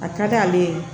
A ka d'ale ye